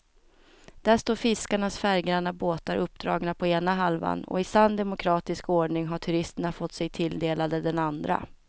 Där står fiskarnas färggranna båtar uppdragna på ena halvan och i sann demokratisk ordning har turisterna fått sig tilldelade den andra.